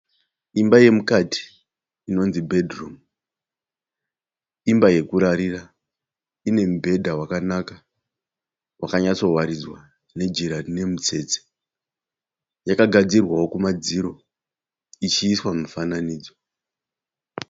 Imba yemukati inonzi bedhurumu. Imba yokurarira ine mibhedha wakanaka wakanyatsowaridzwa nejira rine mitsetse. Yakagadzirwawo kumadziro ichi iswa mufananidzo.